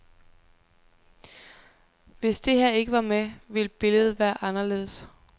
Hvis det her ikke var med, ville billedet være anderledes.